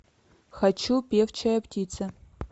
хочу певчая птица